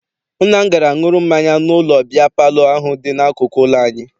Nna m gara ṅụrụ mmanya n'ụlọ biya palọ ahụ dị n'akụkụ ụlọ anyị.